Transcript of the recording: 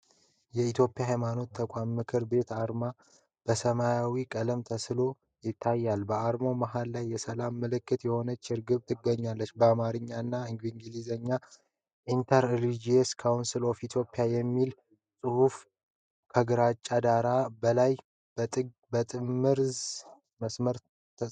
የኢትዮጵያ የሃይማኖት ተቋማት ምክር ቤት አርማ በሰማያዊ ቀለም ተስሎ ይታያል። በአርማው መሃል ላይ የሰላም ምልክት የሆነች ርግብ ትገኛለች። በአማርኛ እና በእንግሊዝኛ 'Inter-Religious Council of Ethiopia' የሚለው ጽሑፍ ከግራጫ ዳራ በላይ በጥምዝ መስመር ተጽፏል።